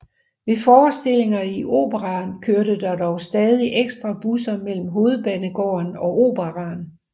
Ved forestillinger i Operaen kørte der dog stadig ekstra busser mellem Hovedbanegården og Operaen